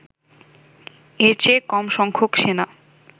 এর চেয়ে কম সংখ্যক সেনা